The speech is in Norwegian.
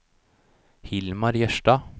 Hilmar Jørstad